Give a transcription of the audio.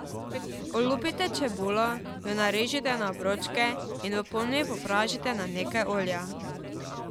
Olupite čebulo, jo narežite na obročke in v ponvi popražite na nekaj olja.